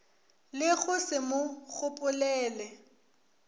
le go se mo gopolele